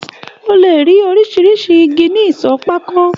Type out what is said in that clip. O le rí oríṣiríṣi ìgi ní ìsọ pákó.